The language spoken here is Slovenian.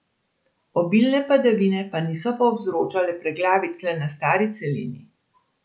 Obilne padavine pa niso povzročale preglavic le na stari celini.